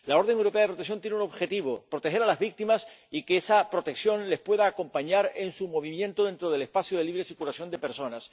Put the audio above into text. La orden europea de protección tiene un objetivo proteger a las víctimas y que esa protección las pueda acompañar en sus movimientos dentro del espacio de libre circulación de personas.